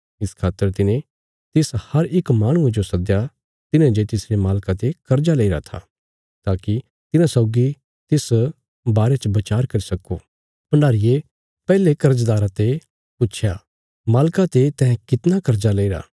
इस खातर तिने तिस हर इक माहणुये जो सद्दया तिन्हे जे तिसरे मालका ते कर्जा लेईरा था ताकि तिन्हां सौगी तिस बारे च बचार करी सक्को भण्डारीये पैहले कर्जदारा ते पुच्छया मालका ते तैं कितना कर्जा लेईरा